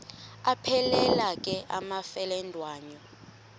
aphelela ke amafelandawonye